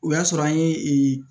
O y'a sɔrɔ an ye